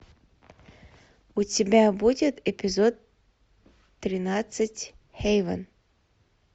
у тебя будет эпизод тринадцать хейвен